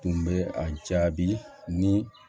Tun bɛ a jaabi ni